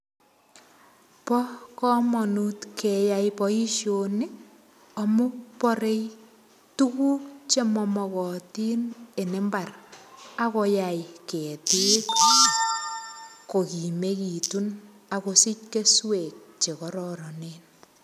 Bo kamanut keyai boisioni amu borei tuguk che mamogotin eng imbar ak koyai ketik kogimegitun ak kosich keswek chekororonen.